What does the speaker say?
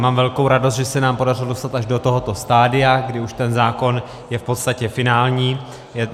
Mám velkou radost, že se nám podařilo dostat až do tohoto stadia, kdy už ten zákon je v podstatě finální.